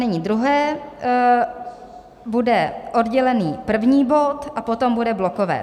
Nyní druhé bude oddělený první bod a potom bude blokové.